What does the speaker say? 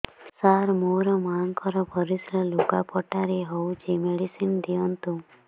ସାର ମୋର ମାଆଙ୍କର ପରିସ୍ରା ଲୁଗାପଟା ରେ ହଉଚି ମେଡିସିନ ଦିଅନ୍ତୁ